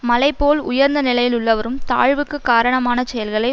மலை போல் உயர்ந்த நிலையில் உள்ளவரும் தாழ்வுக்கு காரணமான செயல்களை